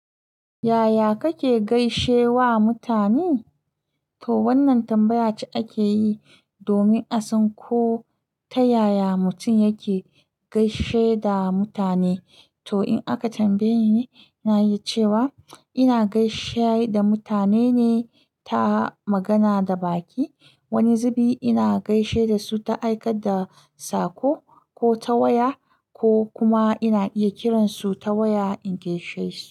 Yaya kake gaishe wa mutane? To wannan tambaya ce ake yi domin a san ko ta yaya mutum yake gaishe da mutane. To in aka tambaye nine. Ina iya cewa ina gaishe da mutane ne ta magana da baki. Wani zubi ina gaishe da su ta aikata da saƙo ko ta waya, ko kuma ina iya kiransu ta waya in gaishe su.